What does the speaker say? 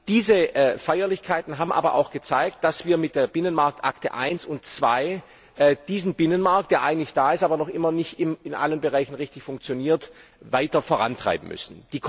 Diese Feierlichkeiten haben aber auch gezeigt, dass wir mit der Binnenmarktakte I und II diesen Binnenmarkt, der eigentlich da ist, aber noch immer nicht in allen Bereichen richtig funktioniert, weiter vorantreiben müssen.